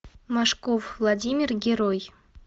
машков владимир герой